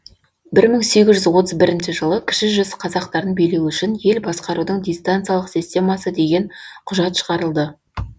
бір мың сегіз жүз отыз бірінші жылы кіші жүз қазақтарын билеу үшін ел басқарудың дистанциялық системасы деген құжат шығарылды